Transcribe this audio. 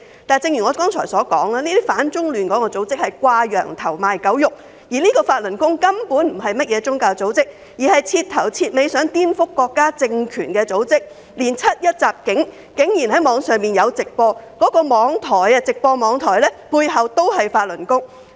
不過，正如我剛才所說，這些反中亂港組織是"掛羊頭，賣狗肉"，法輪功根本不是宗教組織，而是徹頭徹尾想顛覆國家政權的組織，竟然在網上直播"七一襲警"事件，而相關網台也有法輪功背景。